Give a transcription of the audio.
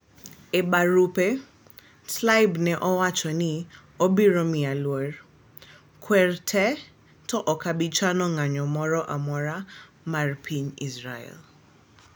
E barupe , Tlaib ne owacho ni obieo miyo luor " kwer te to okobi chano ng'ayo moro amora mar piny Israel